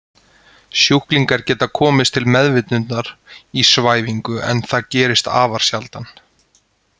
Sjúklingar geta komist til meðvitundar í svæfingu en það gerist afar sjaldan.